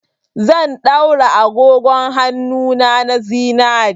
Zan daura agogon hannuna na zinare.